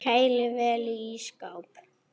Kælið vel í ísskáp.